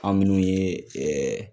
Aw minnu ye ɛɛ